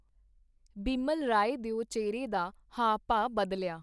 ਬਿਮਲ ਰਾਏ ਦਿਓ ਚਿਹਰੇ ਦਾ ਹਾਵ-ਭਾਵ ਬਦਲਿਆ.